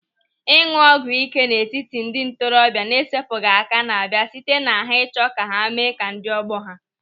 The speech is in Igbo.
Ịñụ ọgwụ ị́ké n'etiti ndị ntorobịa na-esepụghị aka na-abịa site na ha ịchọ ka ha mee ka ndị ọgbọ ha.